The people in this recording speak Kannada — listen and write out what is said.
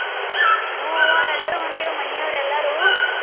ಹ್ಮ್ ಅವ್ವಾ ಎಲ್ಲಾರು ಹೊಂಟೇವಿ ಮನಿಯವ್ರ್ ಎಲ್ಲಾರು.